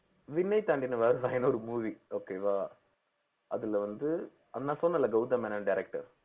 விண்ணைத் தாண்டி வருவாயானு ஒரு movieokay வா அதுல வந்து நான் சொன்னேன்ல கௌதம் மேனன் director